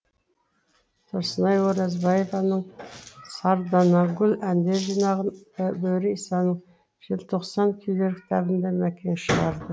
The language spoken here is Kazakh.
тұрсынай оразбаеваның сарданагүл әндер жинағын бөрі исаның желтоқстан күйлер кітабын да мәкең шығарды